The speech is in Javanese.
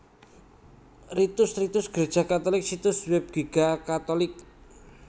Ritus Ritus Gréja Katulik Situs Web Giga catholic